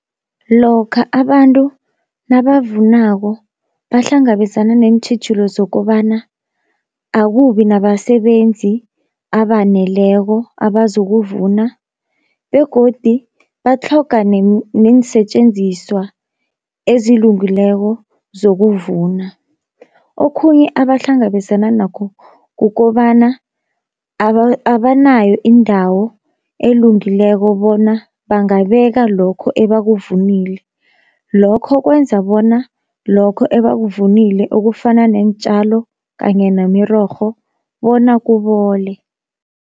Lokha abantu nabavunako bahlangabezana neentjhijilo zokobana akubi nabasebenzi abaneleko abazokuvuna, begodi batlhoga neensetjenziswa ezilungileko zokuvuna. Okhunye abahlangabezana nakho kukobana abanayo indawo elungileko bona bangabeka lokho ebakuvunile, lokho kwenza bona lokho ebakuvunile okufana neentjalo kanye nemirorho bona kubole.